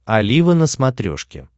олива на смотрешке